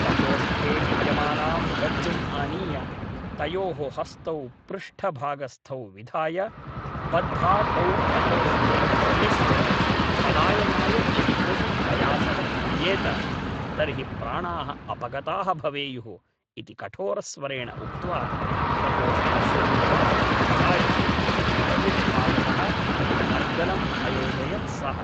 प्रकोष्ठे विद्यमानां रज्जुम् आनीय तयोः हस्तौ पृष्ठभागस्थौ विधाय बद्धा तौ प्रकोष्ठे उपवेश्य पलायनाय यदि कोऽपि प्रयासः क्रियेत तर्हि प्राणाः अपगताः भवेयुः इति कठोरस्वरेण उक्त्वा प्रकोष्ठस्य द्वारं पिधाय बहिर्भागतः अर्गलम् अयोजयत् सः ।